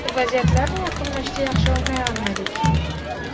Vaziyatlarni yakunlashda yaxshi o‘ynay olmadik?